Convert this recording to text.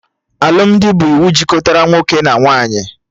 Alụmdi bụ iwu jikọtara nwoke na nwaanyị